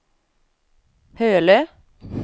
Hölö